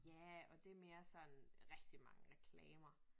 Ja og det mere sådan rigtig mange reklamer